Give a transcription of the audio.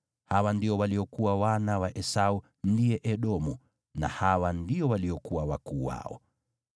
Hawa ndio waliokuwa wana wa Esau (ndiye Edomu), na hawa ndio waliokuwa wakuu wao.